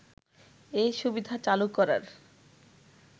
এ সুবিধা চালু করার